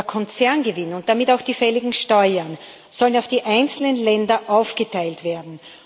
Der Konzerngewinn und damit auch die fälligen Steuern sollen auf die einzelnen Länder aufgeteilt werden.